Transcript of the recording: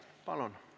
Palun!